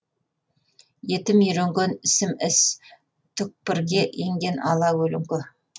етім үйренген ісім іс түкпірге енген ала көлеңке